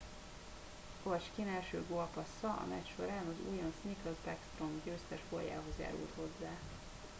ovechkin első gólpassza a meccs során az újonc nicklas backstrom győztes góljához járult hozzá